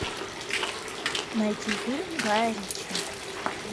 найти фильм гая ричи